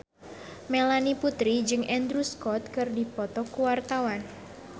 Melanie Putri jeung Andrew Scott keur dipoto ku wartawan